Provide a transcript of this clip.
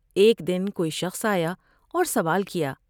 ایک دن کوئی شخص آیا اور سوال کیا ۔